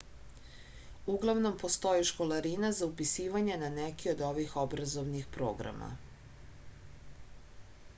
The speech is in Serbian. uglavnom postoji školarina za upisivanje na neki od ovih obrazovnih programa